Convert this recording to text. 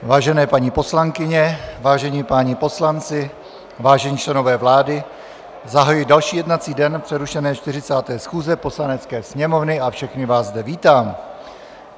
Vážené paní poslankyně, vážení páni poslanci, vážení členové vlády, zahajuji další jednací den přerušené 40. schůze Poslanecké sněmovny a všechny vás zde vítám.